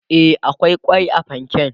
e akwai kwai a fanken